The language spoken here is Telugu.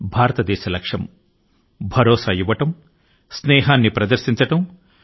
భారతదేశం యొక్క లక్ష్యం స్వయంసమృద్ధియుతమైనటువంటి భారతదేశాన్ని ఆవిష్కరించడమే